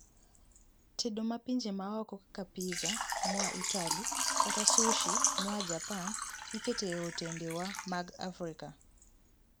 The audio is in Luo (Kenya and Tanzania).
tedo ma pinje maoko kaka pizza moa Itali kata sushi moa Japan iketo e otende wa mag Afrika